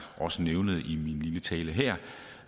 også nævnte i lille tale her